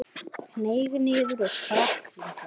Hneig niður og sprakk líka.